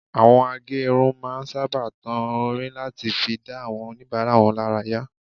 Àwọn a gé irun máa ń sábà tan orin láti fi dá àwọn oníbàárà wọn lára yá